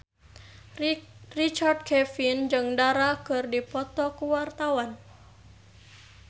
Richard Kevin jeung Dara keur dipoto ku wartawan